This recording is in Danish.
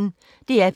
DR P1